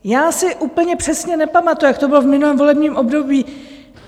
Já si úplně přesně nepamatuju, jak to bylo v minulém volebním období.